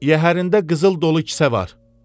Yəhərində qızıl dolu kisə var.